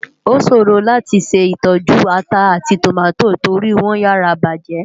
Oṣórò láti ṣé itòjú átà áti tómátó tóri wòn yàrá bájè.